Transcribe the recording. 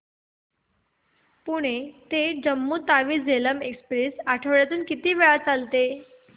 पुणे ते जम्मू तावी झेलम एक्स्प्रेस आठवड्यातून किती वेळा चालते